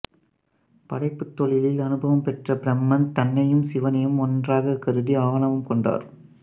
படைப்புத் தொழிலில் அனுபவம் பெற்ற பிரம்மன் தன்னையும் சிவனையும் ஒன்றாகக் கருதி ஆணவம் கொண்டார்